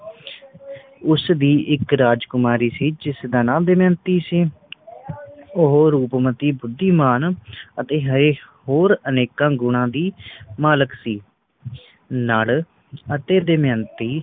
ਉਸ ਦੀ ਇਕ ਰਾਜਕੁਮਾਰੀ ਸੀ ਜਿਸ ਦਾ ਨਾ ਦਮਯੰਤੀ ਸੀ ਉਹ ਰੂਪਮਤੀ ਬੁੱਧੀਮਾਨ ਅਤੇ ਹੋਰ ਅਨੇਕਾਂ ਗੁਣਾ ਦੀ ਮਾਲਕ ਸੀ ਨੱਲ ਅਤੇ ਦਮਯੰਤੀ